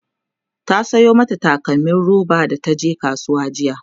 ta Sayo mata takalmim roba da taje kasuwa jiya